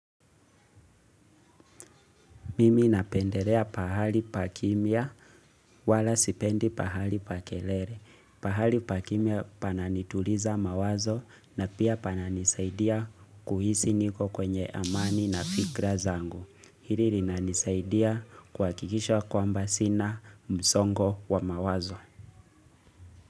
Mimi napendelea pahali pa kimia wala sipendi pahali pa kelele. Pahali pa kimia pananituliza mawazo na pia pananisaidia kuhisi niko kwenye amani na fikra zangu. Hili linanisaidia kuhakikisha kwamba sina msongo wa mawazo.